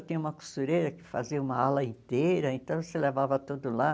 Eu tinha uma costureira que fazia uma ala inteira, então você levava tudo lá.